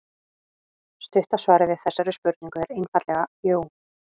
Stutta svarið við þessari spurningu er einfaldlega jú.